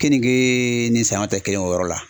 Keningee ni saɲɔ tɛ kelen o yɔrɔ la.